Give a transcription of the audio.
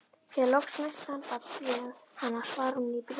Þegar loks næst samband við hana svarar hún í bréfi